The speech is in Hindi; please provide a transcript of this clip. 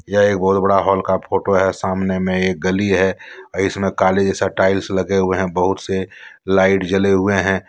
यह एक बहुत बड़ा हॉल का फोटो है सामने में एक गली है इसमें काले जैसा टाइल्स लगे हुए हैं बहुत से लाइट जले हुए हैं।